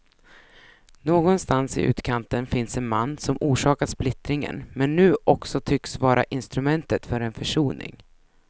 Någonstans i utkanten finns en man som orsakat splittringen men nu också tycks vara instrumentet för en försoning.